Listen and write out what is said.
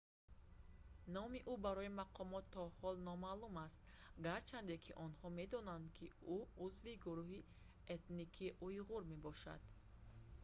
номи ӯ барои мақомот то ҳол номаълум аст гарчанде ки онҳо медонанд ки ӯ узви гурӯҳи этникии уйғур мебошад